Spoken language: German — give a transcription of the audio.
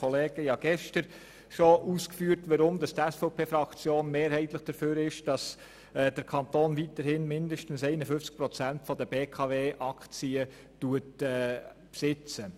Wie gestern ausgeführt, ist die SVP-Fraktion mehrheitlich dafür, dass der Kanton weiterhin mindestens 51 Prozent der BKW-Aktien besitzt.